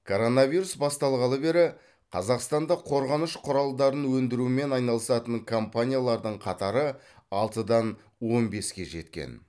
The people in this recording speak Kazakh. коронавирус басталғалы бері қазақстанда қорғаныш құралдарын өндірумен айналысатын компаниялардың қатары алтыдан он беске жеткен